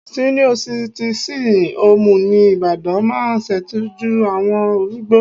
Síníọ́ sitìsìn hoòmù ní Ibadan máa ṣètọ́jú àwọn arúgbó